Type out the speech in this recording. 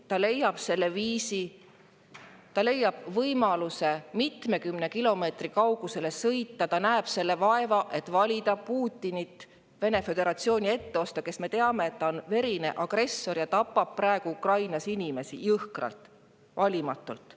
Ta leiab selle viisi, ta leiab võimaluse mitmekümne kilomeetri kaugusele sõita, ta näeb selle vaeva ära, et valida Vene föderatsiooni etteotsa Putinit, kes, me teame, on verine agressor ja tapab praegu Ukrainas inimesi jõhkralt ja valimatult.